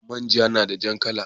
Man ja nada jar kala